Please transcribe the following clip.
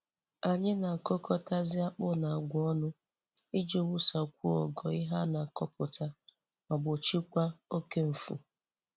Anyị na-akụkọtazi akpụ na agwa ọnụ iji wusakwuo ogo ihe a na-akọpụta ma gbochiekwa oke nfu.